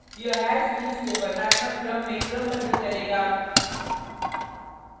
यह hash keys को वर्णात्मक क्रम में क्रमबद्ध करेगा